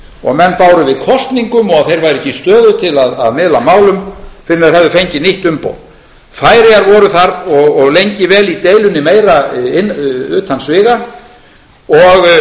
og menn báru við kosningum og þeir væru ekki í stöðu til að miðla málum fyrr en þeir hefðu fengið nýtt umboð færeyjar voru þar og lengi vel í deilunni meira utan sviga og